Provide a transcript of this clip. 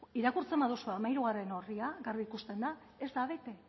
irakurtzen baduzu hamairugarrena orria garbi ikusten da ez da bete